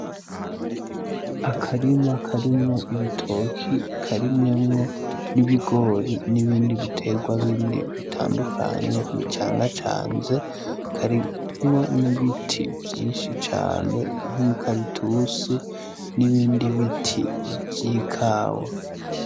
Akarima karimwo ibitoke karimyemwo n'ibigori n'ibindi bitegwa bindi bitandukanye bicangacanze karimwo n'ibiti vyinshi cane nk'imikaratusi n'ibindi biti vy'ikawa.